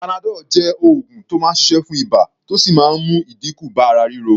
Panadol jẹ́ oògùn tó máa ń ṣiṣẹ́ fún ibà, tó sì máa ń mú ìdínkù bá ara ríro.